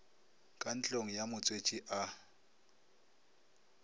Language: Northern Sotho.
ka ntlong ya motswetši a